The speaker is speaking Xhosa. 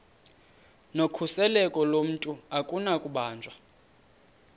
nokhuseleko lomntu akunakubanjwa